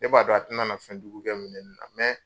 E b'a dɔn a tena na fɛn jugu kɛ minɛn nu na